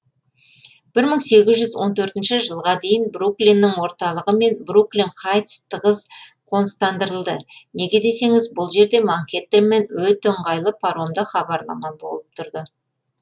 бір мың сегіз жүз он төртінші жылға дейін бруклиннің орталығы мен бруклин хайтс тығыз қоныстандырылды неге десеңіз бұл жерде манхэттенмен өте ыңғайлы паромды хабарлама болып тұрды